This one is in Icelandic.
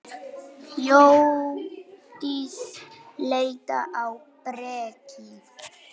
Hjördís leit á Birki.